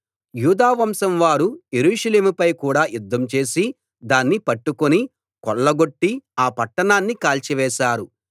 యూదావంశం వారు యెరూషలేముపై కూడా యుద్ధం చేసి దాన్ని పట్టుకుని కొల్లగొట్టి ఆ పట్టణాన్ని కాల్చివేశారు